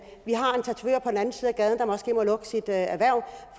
gaden der måske må lukke sit erhverv